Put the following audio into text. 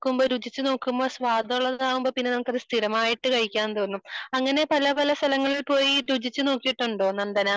രുചിച്ചു നോക്കുമ്പോൾ സ്വാദ് ഉള്ള താവുമ്പോൾ നമുക്ക് കഴിക്കാൻ സ്ഥിരമായി കഴിക്കാൻ തോന്നും അങ്ങനെ പല പല സ്ഥലങ്ങളിൽ പോയി രുചിച്ചു നോക്കിയിട്ടുണ്ടോ നന്ദന